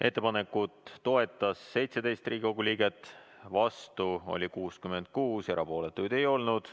Ettepanekut toetas 17 Riigikogu liiget, vastu oli 66, erapooletuid ei olnud.